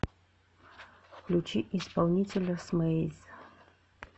включи исполнителя смэйз